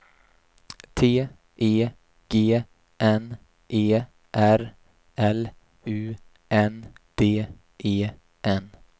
T E G N E R L U N D E N